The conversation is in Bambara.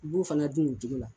U b'u fana dun o cogo la